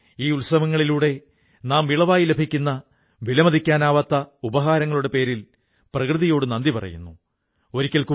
നിങ്ങൾക്കും അങ്ങനെയുള്ള ആളുകളെ അറിയാമെങ്കിൽ അവരെക്കുറിച്ചു പറയൂ എഴുതൂ അവരുടെ വിജയങ്ങളെക്കുറിച്ച് അറിവു പങ്കുവയ്ക്കൂ